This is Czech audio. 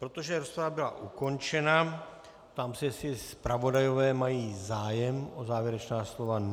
Protože rozprava byla ukončena, ptám se, jestli zpravodajové mají zájem o závěrečná slova.